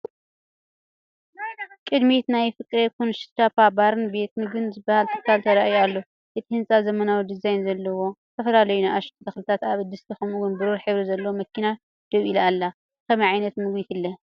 ቅድሚት ናይቲ "ፍቅሬ ኩንስፓኛ ባርን ቤት ምግብን" ዝበሃል ትካል ተራእዩ ኣሎ። እቲ ህንፃ ዘመናዊ ዲዛይን ዘለዎ፤ ዝተፈላለዩ ንኣሽቱ ተኽልታት ኣብ ድስቲ ፤ ከምኡ’ውን ብሩር ሕብሪ ዘለዋ መኪና ደው ኢላ ኣላ። ብኸመይ ዓይነት ምግቡ ይፍለ?